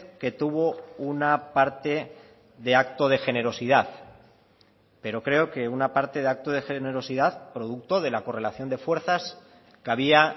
que tuvo una parte de acto de generosidad pero creo que una parte de acto de generosidad producto de la correlación de fuerzas que había